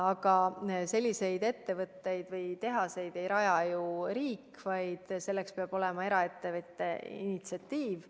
Aga selliseid ettevõtteid ei raja ju riik, selleks peab olema eraettevõtte initsiatiiv.